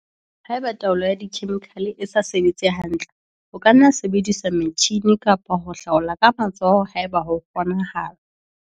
Haeba taolo ka dikhemikhale e sa sebetse hantle, ho ka nna ha sebediswa metjhine kapa ho hlaola ka matsoho haeba ho kgonahala.